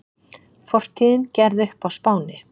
Fortíðin gerð upp á Spáni